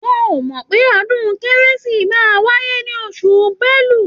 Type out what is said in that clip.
Wọn ò mọ́ pé ọdún kérésìmesì máa wáyé ní oṣù Bẹ́lu.